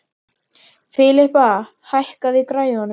Filippa, lækkaðu í græjunum.